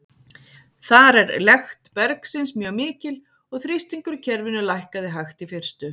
Þar er lekt bergsins mjög mikil, og þrýstingur í kerfinu lækkaði hægt í fyrstu.